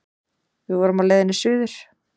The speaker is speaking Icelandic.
Við vorum á leiðinni suður.